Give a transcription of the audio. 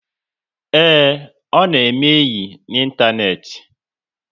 Ee, ọ na-eme enyi ịntanetị